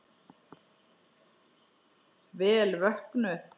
Vel vöknuð!